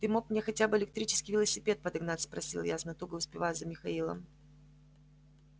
ты мог мне хотя бы электрический велосипед подогнать спросил я с натугой успевая за михаилом